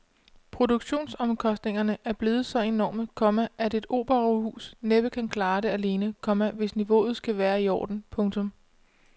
Produktionsomkostningerne er blevet så enorme, komma at et operahus næppe kan klare det alene, komma hvis niveauet skal være i orden. punktum